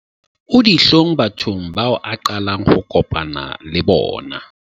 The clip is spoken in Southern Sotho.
o ditlhong bathong bao a qalang ho kopana le bona